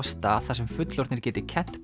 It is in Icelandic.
stað þar sem fullorðnir geti kennt